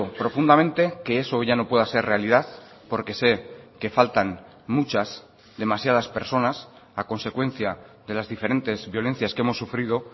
profundamente que eso ya no pueda ser realidad porque sé que faltan muchas demasiadas personas a consecuencia de las diferentes violencias que hemos sufrido